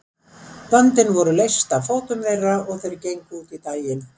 Böndin voru leyst af fótum þeirra og þeir gengu út í daginn.